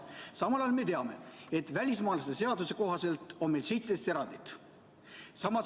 Samal ajal me teame, et välismaalaste seaduse kohaselt on meil 17 erandit.